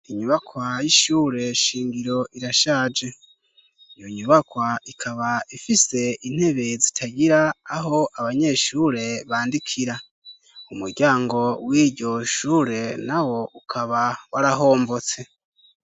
Inyubakwa y'ishure shingiro irashaje iyo nyubakwa ikaba ifise intebe zitagira aho abanyeshure bandikira, umuryango w'iryo shure na wo ukaba warahombotse.